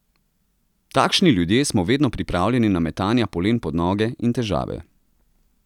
Takšni ljudje smo vedno pripravljeni na metanja polen pod noge in težave.